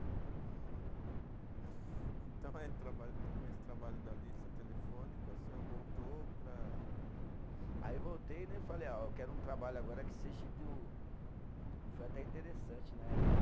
Então, com esse trabalho da lista telefônica, o senhor voltou para. Aí voltei né, e falei, ó, eu quero um trabalho agora que seja do, que foi até interessante, né?